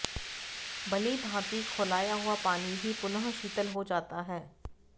भलीभांति खौलाया हुआ पानी भी पुनः शीतल हो जाता है